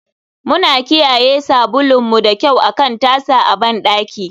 Muna kiyaye sabulun mu da kyau akan tasa a bandaki.